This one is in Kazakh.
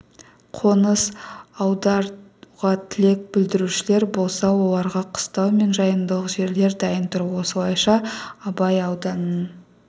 қоныс аударуға тілек білдірушілер болса оларға қыстау мен жайлымдық жерлер дайын тұр осылайша абай ауданының